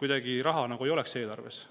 kuidagi raha nagu ei oleks eelarves.